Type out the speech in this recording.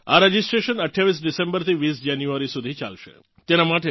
આ રજિસ્ટ્રેશન 28 ડિસેમ્બરથી 20 જાન્યુઆરી સુધી ચાલશે